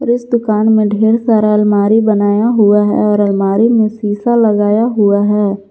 इस दुकान में ढेर सारा अलमारी बनाया हुआ है और अलमारी में शीशा लगाया हुआ है।